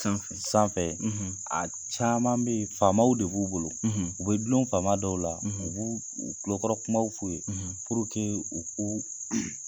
Sanfɛ, sanfɛ, ,a caman bɛ yen faamaw de b'u bolo , ,u bɛ dulon faama dɔw la, , u b'uu kulokɔrɔ kumaw f'u ye, , puruke u k'u